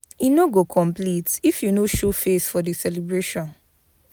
E no go complete if you no show face for di celebration.